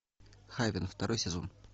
хейвен второй сезон